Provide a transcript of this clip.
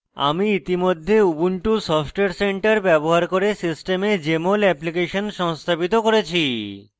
আমি ইতিমধ্যে ubuntu software center ব্যবহার করে system jmol অ্যাপ্লিকেশন সংস্থাপিত করেছি